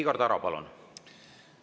Igor Taro, palun!